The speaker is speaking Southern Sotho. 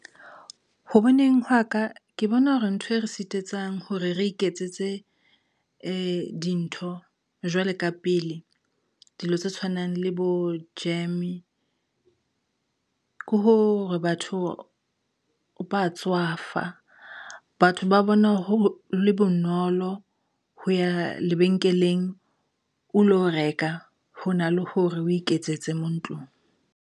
Ho boneng hwa ka, ke bona hore ntho e re sitisang hore re iketsetse dintho jwale ka pele, dilo tse tshwanang le bo jam. Ke hore batho ba tswafa, batho ba bona ho le bonolo ho ya lebenkeleng, o lo reka hona le hore o iketsetse mo ntlong.